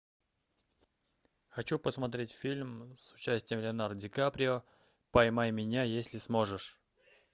хочу посмотреть фильм с участием леонардо ди каприо поймай меня если сможешь